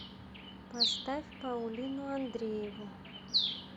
поставь паулину андрееву